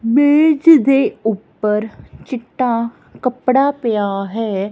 ਮੇਜ ਦੇ ਉੱਪਰ ਚਿੱਟਾ ਕਪੜਾ ਪਿਆ ਹੈ।